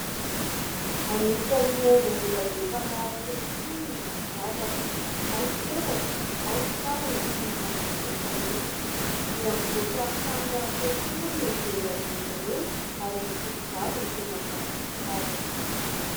Anisan'ny haingo mbola be mpanao ankehitriny ny firavaka: ao ny peratra, ao ny kavina sy ny maro tsy voatanisa. Miamivoatra hatrany rahateo koa moa ny modely amin'izy ireny ary ny tovovavy no tena mpanjifa azy.